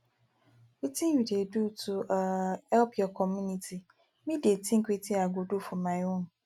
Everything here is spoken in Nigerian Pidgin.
wetin you dey do to um help your community me dey think wetin i go do for my own